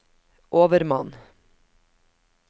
overmann